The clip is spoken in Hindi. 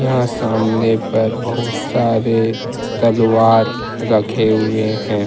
यहाँ सामने पर बहुत सारे तलवार रखे हुए हैं।